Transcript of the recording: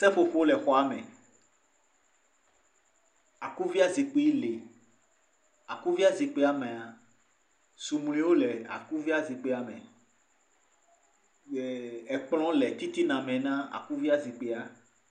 Seƒoƒo le xɔame, akufia zikpui lee. Akufia zikpuiamea, sumliwo le akufia zikpuiame ye ekplɔ̃ le titina mena akufia zikpuia.